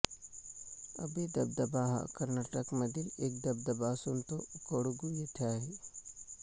अब्बे धबधबा हा कर्नाटकमधील एक धबधबा असून तो कोडगू येथे आहे